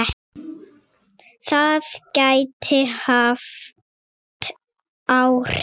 Það gæti haft áhrif.